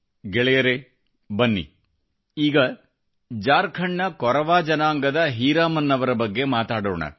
ಗೆಳೆಯರೇ ಬನ್ನಿ ಈಗ ಜಾರ್ಖಂಡ್ ನ ಕೊರವಾ ಜನಾಂಗದ ಹೀರಾಮನ್ ಅವರ ಬಗ್ಗೆ ಮಾತಾಡೋಣ